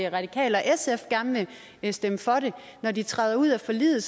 radikale og sf gerne vil stemme for det når de træder ud af forliget